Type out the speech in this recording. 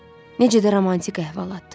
Necə də romantik əhvalatdır.